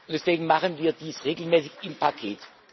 Deswegen machen wir dies regelmäßig im Paket.